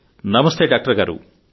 నమస్తే డాక్టర్ గారూ